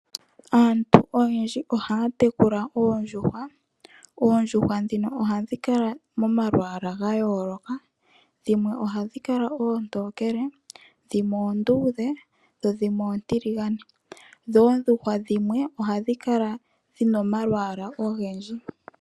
Aantu oyendji ohaya tekula oondjuhwa ,oondjuhwa dhino ohadhi kala momalwaala ga yooloka dhimwe ohadhi kala oontokele dhimwe oonduudhe dho dhimwe oontiligane dho oondjuhwa dhimwe ohadhi kala dhina omalwaala ogwndji.